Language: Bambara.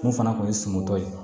Mun fana kun ye sungutɔ ye